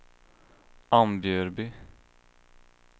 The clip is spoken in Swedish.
Ambjörby